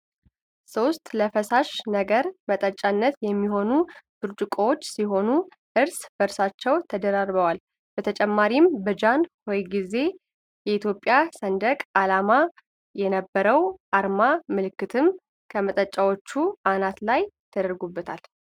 ሶስት ለፈሳሽ ነገር መጠጫነት የሚሆኑ ብርጭቆዎች ሲሆኑ እርስ በርሳቸው ተደራርበዋል በተጨማሪም በጃን ሆይ ጊዜ የኢትዮጵያ ሰንደቅ ዓላማ የነበረው የአርማ ምልክትም ከመጠጫው አናት ላይ ተደርጎበታል።